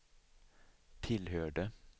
tillhörde